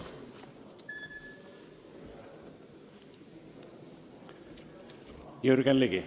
Jürgen Ligi.